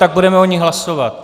Tak budeme o ní hlasovat.